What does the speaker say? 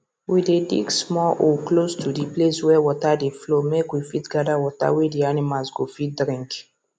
we dey dig small hole close to d place wey water dey flow make we fit gather water wey d animals go fit drink